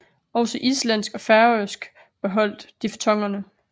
Også islandsk og færøsk beholdt diftongerne